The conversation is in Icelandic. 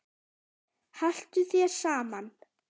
Haltu þér saman